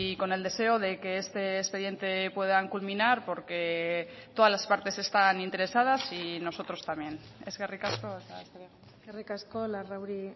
con el deseo de que este expediente puedan culminar porque todas las partes están interesadas y nosotros también eskerrik asko eskerrik asko larrauri